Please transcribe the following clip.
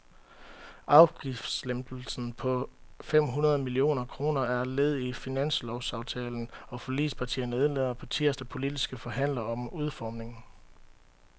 Afgiftslempelsen på fem hundrede millioner kroner er led i finanslovsaftalen, og forligspartierne indleder på tirsdag politiske forhandlinger om udformningen.